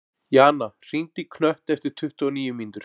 Jana, hringdu í Knött eftir tuttugu og níu mínútur.